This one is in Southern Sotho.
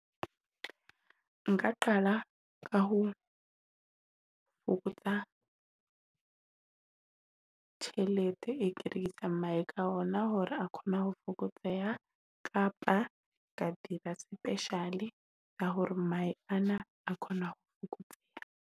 Nka qala ka ho fokotsa tjhelete e ka ona, hore a khone ho fokotseha kapa ka dira special-e ka hore mahe a khone ho fokotseha.